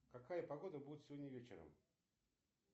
какая погода будет сегодня вечером